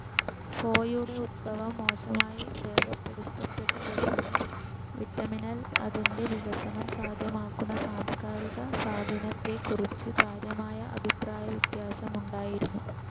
ഫോയുടെ ഉത്ഭവം മോശമായി രേഖപ്പെടുത്തപ്പെട്ടതിനാൽ വിറ്റമിനിൽ അതിൻ്റെ വികസനം സാധ്യമാകുന്ന സാംസ്‌കാരിക സ്വാധീനത്തെക്കുറിച്ച് കാര്യമായ അഭിപ്രായവ്യത്യാസമുണ്ടായിരുന്നു.